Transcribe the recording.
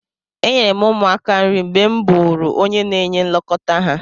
Enyere m ụmụaka nri mgbe m bụụrụ onye na-enye nlekọta ha.